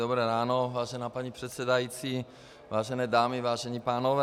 Dobré ráno, vážená paní předsedající, vážené dámy, vážení pánové.